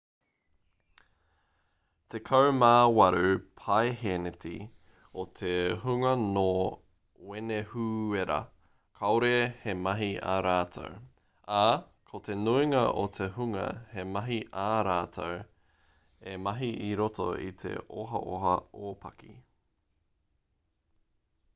tekau mā waru paehēneti o te hunga nō wenehūera kāore he mahi a rātou ā ko te nuinga o te hunga he mahi ā rātou e mahi i roto i te ohaoha ōpaki